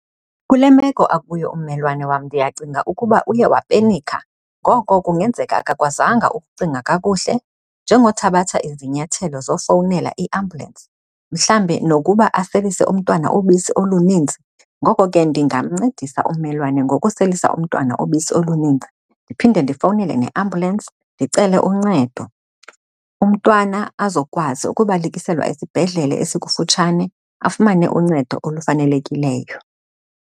Kule meko akuyo ummelwane wam ndiyacinga ukuba uye wapenikha. Ngoko kungenzeka akakwazenga ukucinga kakuhle njengothabatha izinyathelo zofowunela iambulensi mhlawumbi nokuba aselise umntwana obisi olunintsi. Ngoko ke ndingamncedisa ummelwane ngokuselisa umntwana obisi olunintsi ndiphinde ndifowunele neambulensi ndicele uncedo, umntwana azokwazi ukubalekiselwa isibhedlele esikufutshane, afumane uncedo olufanelekileyo.